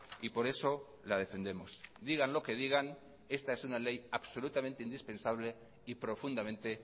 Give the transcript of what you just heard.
y por eso la defendemos digan lo que digan esta es una ley absolutamente indispensable y profundamente